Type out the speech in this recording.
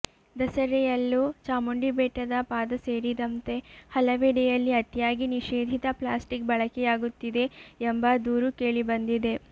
ದಸರೆಯಲ್ಲೂ ಚಾಮುಂಡಿ ಬೆಟ್ಟದ ಪಾದ ಸೇರಿದಂತೆ ಹಲವೆಡೆಯಲ್ಲಿ ಅತಿಯಾಗಿ ನಿಷೇಧಿತ ಪ್ಲಾಸ್ಟಿಕ್ ಬಳಕೆಯಾಗುತ್ತಿದೆ ಎಂಬ ದೂರು ಕೇಳಿಬಂದಿದೆ